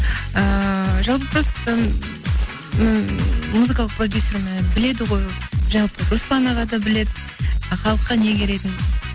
ыыы жалпы просто ммм музыкалық продюсерім і біледі ғой жалпы руслан аға да біледі халыққа не керегін